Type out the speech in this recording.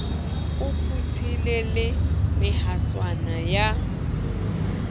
o phuthile le mehaswana ya